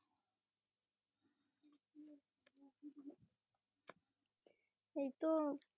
এইতো